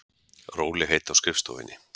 Rólegheit á skrifstofunni.